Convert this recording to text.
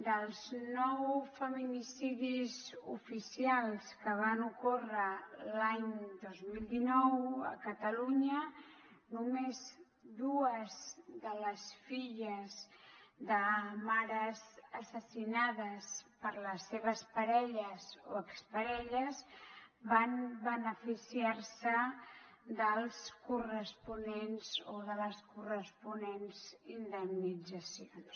dels nou feminicidis oficials que van ocórrer l’any dos mil dinou a catalunya només dues de les filles de mares assassinades per les seves parelles o exparelles van beneficiar se de les corresponents indemnitzacions